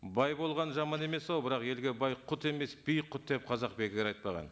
бай болған жаман емес ау бірақ елге бай құт емес би құт деп қазақ бекер айтпаған